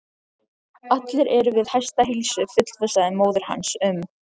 Allir eru við hestaheilsu, fullvissaði móðir hans um.